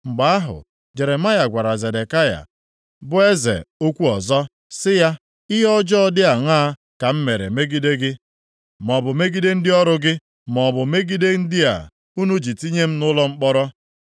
Mgbe ahụ, Jeremaya gwara Zedekaya, bụ eze okwu ọzọ sị ya, “Ihe ọjọọ dị aṅaa ka m mere megide gị, maọbụ megide ndị ọrụ gị, maọbụ megide ndị a, unu ji tinye m nʼụlọ mkpọrọ?